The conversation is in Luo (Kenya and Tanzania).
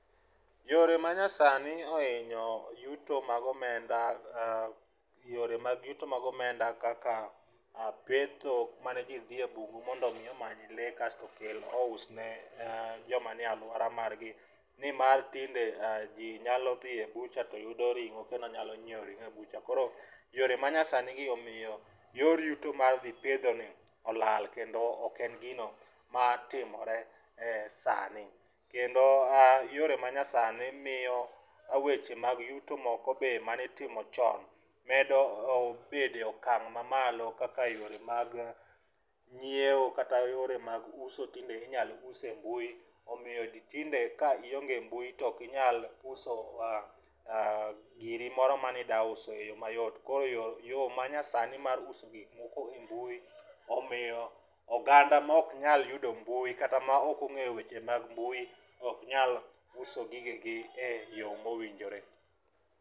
Yore ma nyasani ohinyo yuto mag omenda, yore mag yuto mag omenda kaka petho mane ji dhi e bungu mondo mi omany le kasto okel ous ne joma ni e alwora margi. Nimar tinde ji nyalo dhi e bucha to yudo ring'o kendo nyalo nyiewo ring'o e bucha. Koro yore ma nyasani gi omiyo yor yuto mar dhi pedho ni olal kendo ok en gino ma timore sani. Kendo yore ma nyasani miyo weche mag yuto be manitimo chon medo bede okang' ma malo kaka yore mag nyiewo kata yore mag uso tinde inyal us e mbui. Omiyo ji tinde ka ionge mbui to okinyal uso giri moro manida uso e yo mayot. Koro yo ma nyasani mar uso gik moko e mbui omiyo oganda ma ok nyal yudo mbui kata ma ok ong'eyo weche mbui ok nyal uso gigegi e yo mowinjore.